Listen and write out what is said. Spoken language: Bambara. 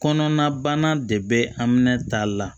Kɔnɔnabana de bɛ aminɛ ta la